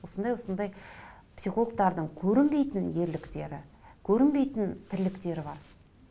осындай осындай психологтардың көрінбейтін ерліктері көрінбейтін тірліктері бар